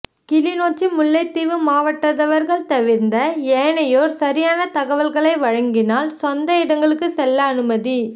கிளிநொச்சி முல்லைத்தீவு மாவட்டத்தவர்கள் தவிர்ந்த ஏனையோர் சரியான தகவல்களை வழங்கினால் சொந்த இடங்களுக்கு செல்ல அனுமதி